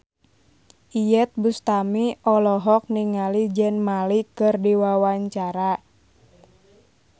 Iyeth Bustami olohok ningali Zayn Malik keur diwawancara